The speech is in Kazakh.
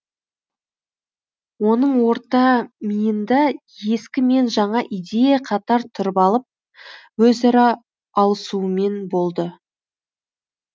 оның орта миында ескі мен жаңа идея қатар тұрып алып өзара алысумен болды